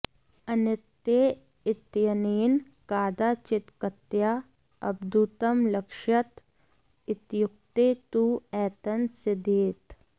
अनित्ये इत्यनेन कादाचित्कतया अद्भुतं लक्ष्यत इत्युक्ते तु एतन्न सिध्येत्